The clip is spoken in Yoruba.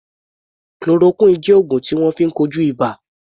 Chloroquine jẹ́ oògùn tí wọ́n fi ń kojú ibà.